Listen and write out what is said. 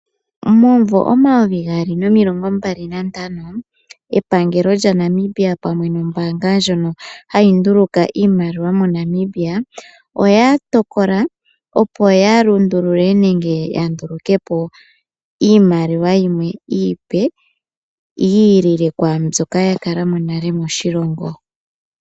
Momuvo omayovi gaali nomilongo mbali na ntano epangelo lyaNamibia pamwe no mbanga ndjono hayi nduluka iimaliwa moNamibia oya tokola opo ya lundulule nenge ya ndulukepo iimaliwa yimwe iipe yi ilile kwambyoka ya kala mo nale moshilongo.